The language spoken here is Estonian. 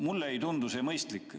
Mulle ei tundu see mõistlik.